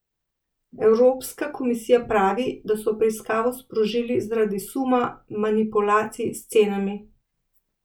Evropska komisija pravi, da so preiskavo sprožili zaradi suma manipulacij s cenami.